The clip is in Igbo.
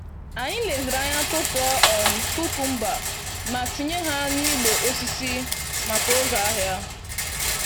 Anyi leziri anya tụtụọ um kukọmba ma tinye ha n'igbe osisi maka oge ahịa.